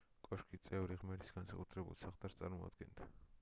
კოშკის წვერი ღმერთის განსაკუთრებულ საყდარს წარმოადგენდა